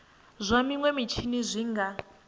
zwa minwe mitshini zwi nga